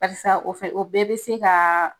Karisa o fɛ o bɛɛ bɛ sin kaaa.